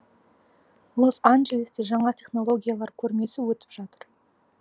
лос анджелесте жаңа технологиялар көрмесі өтіп жатыр